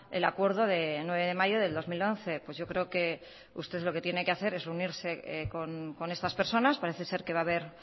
el acuerdo de nueve de mayo de dos mil once pues yo creo que usted lo que tiene que hacer es reunirse con estas personas parece ser que va a haber